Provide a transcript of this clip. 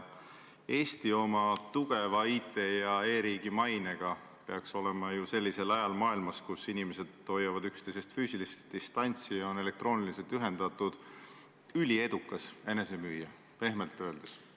Eesti oma tugeva IT- ja e-riigi mainega peaks olema ju sellisel ajal maailmas, kui inimesed hoiavad üksteisest füüsilist distantsi ja on elektrooniliselt ühendatud, üliedukas enesemüüja, pehmelt öeldes.